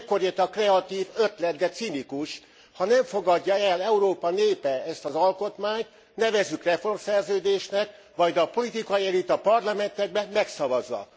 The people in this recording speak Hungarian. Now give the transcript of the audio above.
Ekkor jött a kreatív ötlet, de cinikus ha nem fogadja el Európa népe ezt az alkotmányt, nevezzük reformszerződésnek, majd a politikai elit a parlamentekben megszavazza.